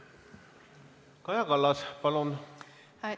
Kaja Kallas, palun!